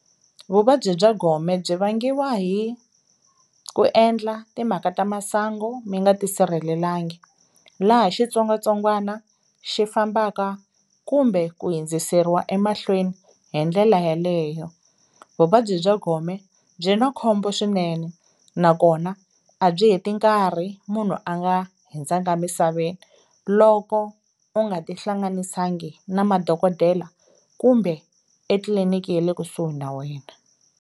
Vuvabyi bya gome byi vangiwa hi ku endla timhaka ta masangu mi nga tisirhelelanga laha xitsongwatsongwana xi fambaka kumbe ku hundziseriwa emahlweni hi ndlela yaleyo. Vuvabyi bya gome byi na khombo swinene nakona a byi he ti nkarhi munhu a nga hindzanga misaveni loko u nga tihlanganisangi na madokodela kumbe etliliniki ye le kusuhi na wena.